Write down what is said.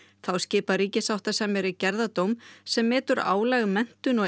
þá skipar ríkissáttasemjari gerðardóm sem metur álag menntun og